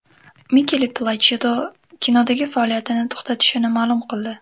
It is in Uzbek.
Mikele Plachido kinodagi faoliyatini to‘xtatishini ma’lum qildi.